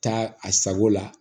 Taa a sago la